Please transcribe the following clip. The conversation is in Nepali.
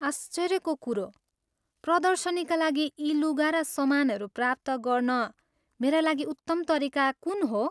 आश्चर्यको कुरो। प्रदर्शनीका लागि यी लुगा र समानहरू प्राप्त गर्न मेरा लागि उत्तम तरिका कुन हो?